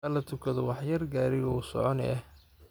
Halatukato wax yar gariga wuusoconi eh.